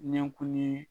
Ɲɛkurunin